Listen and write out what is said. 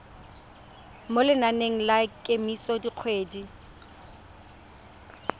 mo lenaneng la kemiso dikgwedi